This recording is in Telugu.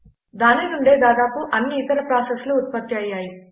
దానినుండే దాదాపు అన్ని ఇతర ప్రాసెస్లు ఉత్పత్తి అయ్యాయి